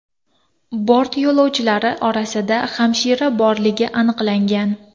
Bort yo‘lovchilari orasida hamshira borligi aniqlangan.